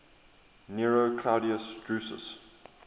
nero claudius drusus